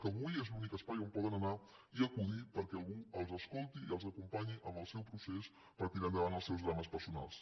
que avui és l’únic espai on poden anar i acudir perquè algú les escolti i les acompanyi en el seu procés per tirar endavant els seus drames personals